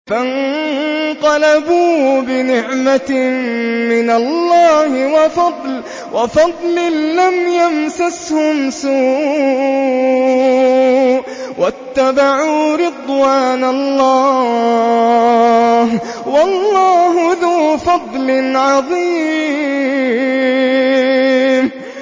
فَانقَلَبُوا بِنِعْمَةٍ مِّنَ اللَّهِ وَفَضْلٍ لَّمْ يَمْسَسْهُمْ سُوءٌ وَاتَّبَعُوا رِضْوَانَ اللَّهِ ۗ وَاللَّهُ ذُو فَضْلٍ عَظِيمٍ